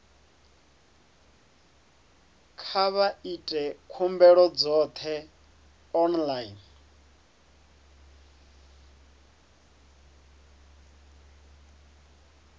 kha vha ite khumbelo dzoṱhe online